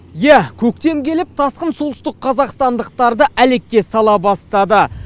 иә көктем келіп тасқын су солтүстікқазақстандықтарды әлекке сала бастады